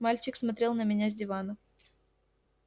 мальчик смотрел на меня с дивана